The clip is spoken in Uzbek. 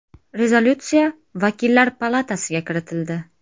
Rezolyutsiya vakillar palatasiga kiritildi.